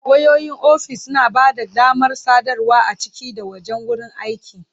Wayoyin ofis suna ba da damar sadarwa a ciki da wajen wurin aiki.